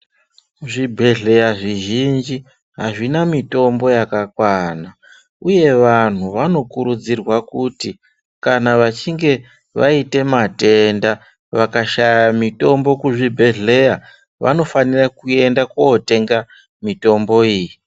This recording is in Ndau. Zvibhedhleya zvizhinji azvina mitombo yakakwana uye vantu vanokurudzirwa kuti vachinge vaite matenda vakashaya mitombo kuzvibhedhleya vanofanira kuenda kootenga mitombo iyi.